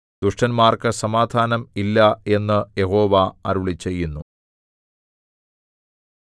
ദുഷ്ടന്മാർക്കു സമാധാനം ഇല്ല എന്നു യഹോവ അരുളിച്ചെയ്യുന്നു